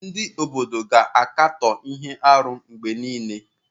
Ndị obodo na-akatọ ihe arụ mgbe niile.